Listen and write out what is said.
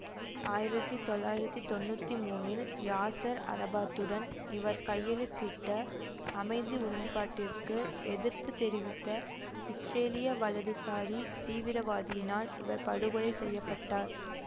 ஆயிரத்தி தொள்ளயிறத்தி தொநுன்றி முனில் யாசர் அரபாத்துடன் இவர் கையெழுத்திட்ட அமைதி உடன்பாட்டிற்கு எதிர்ப்பு தெரிவித்த இஸ்ரேலிய வலதுசாரி தீவிரவாதியினால் இவர் படுகொலை செய்ய பட்டார்